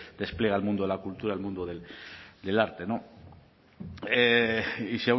despliega el mundo de la cultura el mundo del arte y